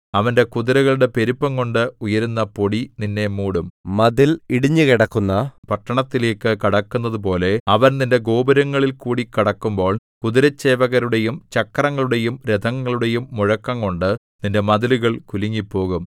അവന്റെ കുതിരകളുടെ പെരുപ്പംകൊണ്ട് ഉയരുന്ന പൊടി നിന്നെ മൂടും മതിൽ ഇടിഞ്ഞുകിടക്കുന്ന പട്ടണത്തിലേക്ക് കടക്കുന്നതുപോലെ അവൻ നിന്റെ ഗോപുരങ്ങളിൽകൂടി കടക്കുമ്പോൾ കുതിരച്ചേവകരുടെയും ചക്രങ്ങളുടെയും രഥങ്ങളുടെയും മുഴക്കംകൊണ്ട് നിന്റെ മതിലുകൾ കുലുങ്ങിപ്പോകും